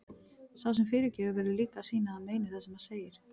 Sá sem fyrirgefur verður líka að sýna að hann meini það sem hann segir.